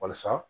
Walasa